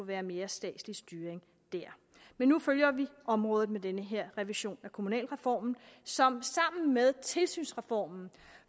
været mere statslig styring der men nu følger vi området med den her revision af kommunalreformen som sammen med tilsynsreformen